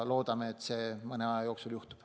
Loodame, et see mõne aja jooksul juhtub.